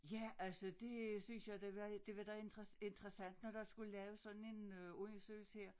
Ja altså det synes jeg det var det var da interessant når der skulle laves sådan en øh undersøgelse her